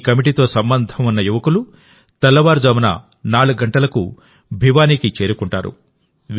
ఈ కమిటీతో సంబంధం ఉన్న యువకులు తెల్లవారుజామున 4 గంటలకు భివానీకి చేరుకుంటారు